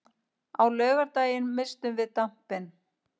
Á laugardaginn misstum við dampinn.